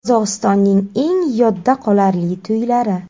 Qozog‘istonning eng yodda qolarli to‘ylari .